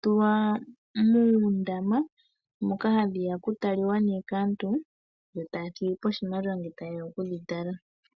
tulwa muundama moka aantu haye ya ye dhi tale yo taya thigi po oshimaliwa.